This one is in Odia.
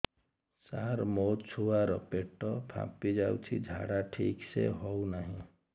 ସାର ମୋ ଛୁଆ ର ପେଟ ଫାମ୍ପି ଯାଉଛି ଝାଡା ଠିକ ସେ ହେଉନାହିଁ